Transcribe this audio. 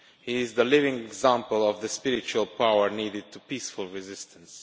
He is the living example of the spiritual power needed for peaceful resistance.